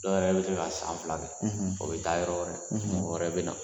Dɔw yɛrɛ bɛ se ka san fila, o bɛ taa yɔrɔ wɛrɛ, mɔgɔ wɛrɛ bɛ na